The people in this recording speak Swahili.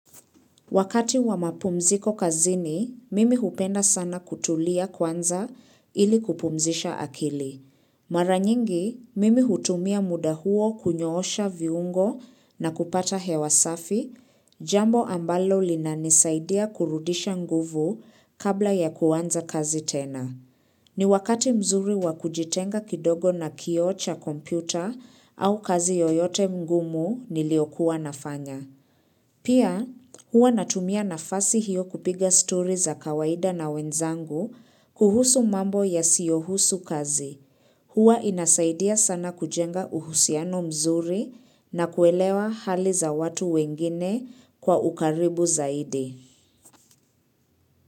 Wakati wa mapumziko kazini, mimi hupenda sana kutulia kwanza ili kupumzisha akili. Maranyingi, mimi hutumia muda huo kunyoosha viungo na kupata hewa safi, jambo ambalo linanisaidia kurudisha nguvu kabla ya kuanza kazi tena. Ni wakati mzuri wa kujitenga kidogo na kioo cha kompyuta au kazi yoyote mgumu niliokuwa nafanya. Pia huwa natumia nafasi hiyo kupiga story za kawaida na wenzangu kuhusu mambo yasiyohusu kazi. Huwa inasaidia sana kujenga uhusiano mzuri na kuelewa hali za watu wengine kwa ukaribu zaidi.